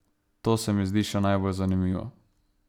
To se mi zdi še najbolj zanimivo.